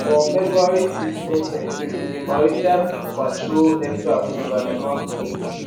for february 6 2023 a maritime patrol aircraft crash land for lagos